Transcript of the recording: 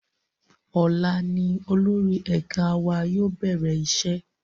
Ọ̀la ni olórí ẹ̀ka wa yóò bẹ̀rẹ̀ iṣẹ́